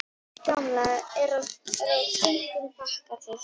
Guðbjörg gamla er á þönum bakatil.